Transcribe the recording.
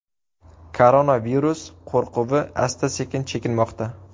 Koronavirus qo‘rquvi asta-sekin chekinmoqda.